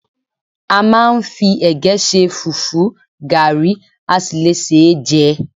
A máa ń fi ẹ̀gẹ́ ṣe, fùfú, gàrí, a sì le sé e jẹ